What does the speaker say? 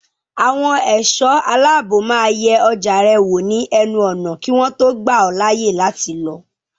Àwọn ẹ̀ṣọ́ aláàbò máa yẹ ọjà rẹ wò ní ẹnu ọ̀nà kí wọ́n tó gbà ọ́ láàyè láti lọ.